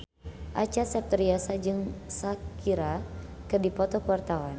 Acha Septriasa jeung Shakira keur dipoto ku wartawan